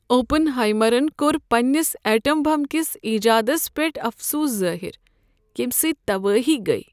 Open ہائیمرن کوٚر پننس ایٹم بم کِس ایجادس پیٹھ افسوس ظاہر یمہِ سٕتۍ تبٲہی گیہ ۔